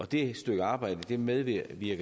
det stykke arbejde medvirker vi